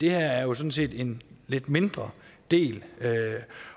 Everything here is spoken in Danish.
er jo sådan set en lidt mindre del